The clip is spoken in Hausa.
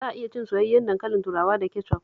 Za a iya cin soyayyen dankalin turawa da kecof